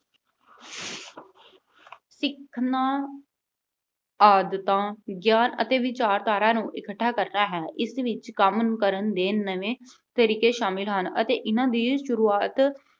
ਸਿੱਖਣਾ ਆਦਤਾਂ ਜਾਂ ਅਤੇ ਵਿਚਾਰਧਾਰਾ ਨੂੰ ਇਕੱਠਾ ਕਰਦਾ ਹੈ। ਇਸ ਵਿੱਚ ਕੰਮ ਨੂੰ ਕਰਨ ਦੇ ਨਵੇਂ ਤਰੀਕੇ ਸ਼ਾਮਿਲ ਹਨ ਅਤੇ ਇਨ੍ਹਾਂ ਦੀ ਸ਼ੁਰੂਆਤ